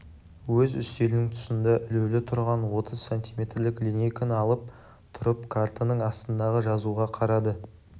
өз үстелінің тұсында ілулі тұрған отыз сантиметрлік линейканы алып тұрып картаның астындағы жазуға қарады